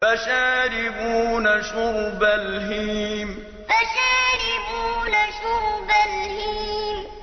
فَشَارِبُونَ شُرْبَ الْهِيمِ فَشَارِبُونَ شُرْبَ الْهِيمِ